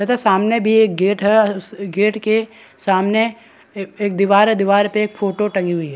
तथा सामने भी एक गेट है उ उस गेट के सामने ए एक दीवार है दीवार पे एक फोटो टंगी हुई है।